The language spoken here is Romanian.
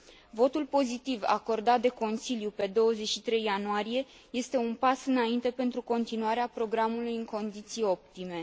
Votul pozitiv acordat de Consiliu pe 23 ianuarie este un pas înainte pentru continuarea programului în condiții optime.